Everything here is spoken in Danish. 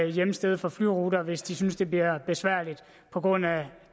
hjemsted for flyruter hvis de synes det bliver besværligt på grund af